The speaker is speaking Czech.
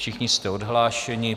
Všichni jste odhlášeni.